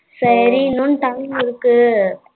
சரி இன்னும் time இருக்கு.